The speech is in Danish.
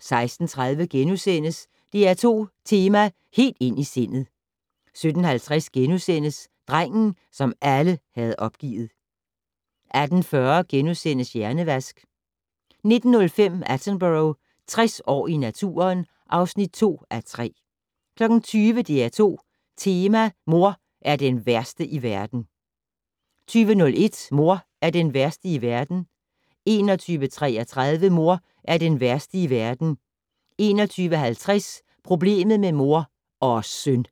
16:30: DR2 tema: Helt ind i sindet * 17:50: Drengen, som alle havde opgivet * 18:40: Hjernevask * 19:05: Attenborough - 60 år i naturen (2:3) 20:00: DR2 Tema: Mor er den værste i verden 20:01: Mor er den værste i verden 21:33: Mor er den værste i verden 21:50: Problemet med mor - og søn!